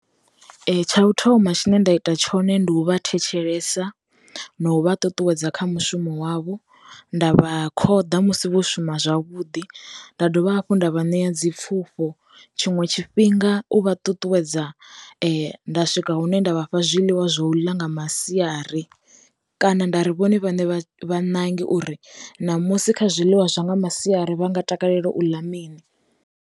Tsha u thoma tshine nda ita tshone ndi u vha thetshelesa, no u vha ṱuṱuwedza kha mushumo wavho, nda vha khoḓa musi vho shuma zwavhuḓi, nda dovha hafhu nda vha nea dzi pfufho, tshiṅwe tshifhinga u vha ṱuṱuwedza nda swika hune nda vhafha zwiḽiwa zwo ḽa nga masiari kana nda ri vhone vhaṋe vha ṋange uri, na musi kha zwiḽiwa zwa nga masiari vha nga takalela u ḽa mini.